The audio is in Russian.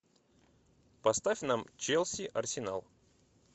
поставь нам челси арсенал